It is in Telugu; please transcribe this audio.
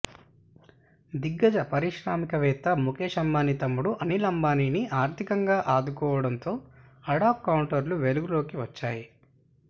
దిగ్గజ పారిశ్రామిక వేత్త ముకేశ్ అంబానీ తమ్ముడు అనిల్ అంబానీని ఆర్థికంగా ఆదుకోవడంతో అడాగ్ కౌంటర్లు వెలుగులోకి వచ్చాయి